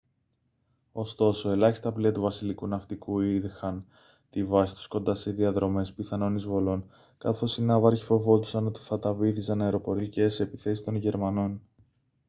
ωστόσο ελάχιστα πλοία του βασιλικού ναυτικού είχαν τη βάση τους κοντά σε διαδρομές πιθανών εισβολών καθώς οι ναύαρχοι φοβόντουσαν ότι θα τα βύθιζαν αεροπορικές επιθέσεις των γερμανών